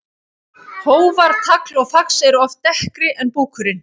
Hófar, tagl og fax eru oft dekkri en búkurinn.